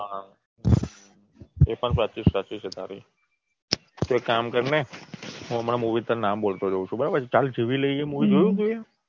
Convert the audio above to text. હા એ પણ સાચું છે તારું. તો એક કામ કર ને હું હમણાં Movie નામ બોલતો જવું છું બરાબર ચાલ જીવી લઈએ એ Movie જોયું